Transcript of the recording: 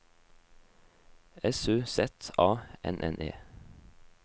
S U Z A N N E